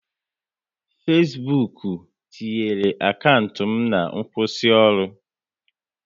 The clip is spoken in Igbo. Fesbuk tinyere akaụntụ m na nkwụsịoru